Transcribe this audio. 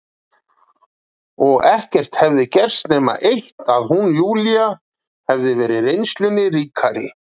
Og ekkert hefði gerst nema það eitt að hún, Júlía, hefði verið reynslunni ríkari.